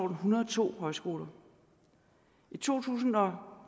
hundrede og to højskoler i to tusind og